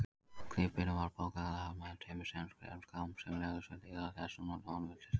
Klyfberinn var bogalagaður með tveimur tréslám sem lögðust við hliðar hestsins honum til stuðnings.